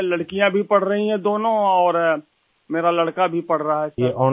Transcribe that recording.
دونوں لڑکیاں بھی تعلیم حاصل کررہی ہیں ، اور میرا لڑکا بھی پڑھ رہا ہے ، جناب